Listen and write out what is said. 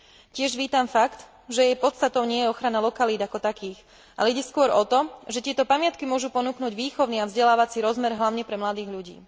Tiež vítam fakt, že jej podstatou nie je ochrana lokalít ako takých, ale ide skôr o to, že tieto pamiatky môžu ponúknuť výchovný a vzdelávací rozmer hlavne pre mladých ľudí.